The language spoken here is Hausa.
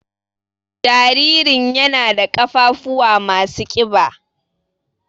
Jaririn ƴana ɗa ƙafafuwa masu ƙiba.